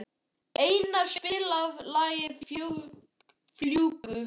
Einína, spilaðu lagið „Fljúgðu“.